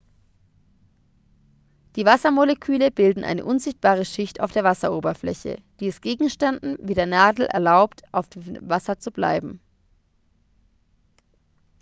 die wassermoleküle bilden eine unsichtbare schicht auf der wasseroberfläche die es gegenständen wie der nadel erlaubt auf dem wasser zu treiben